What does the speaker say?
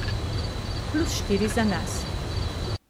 Plus štiri za nas.